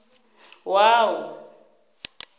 wua